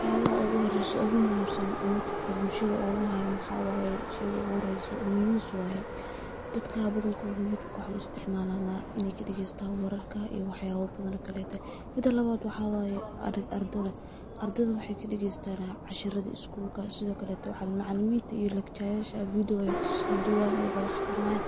Waxyabaha ugu horeyso ugu muhimsan oo yutubka bulshada uguhayo waxaa waye sheyga uguhoreyso news waye, dadka badhankoda yutubka waxay u isticmalana in ay kadagestan wararka iyo wax yab badhan oo kalete. Mida lawad waxaa waye ardada, ardada waxay kadaagestana casharada skulka , sidhokaleta macaliminta iyo letchayasha video ayay kasoduwayan ayago wax aqrinayan